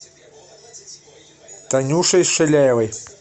танюшей шиляевой